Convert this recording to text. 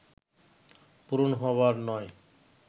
পূরণ হবার নয়